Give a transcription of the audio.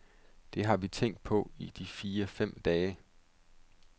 Det har vi tænkt på i de fire fem dage.